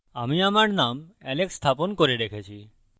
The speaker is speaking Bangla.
আমি আমার name alex স্থাপন করে রেখেছি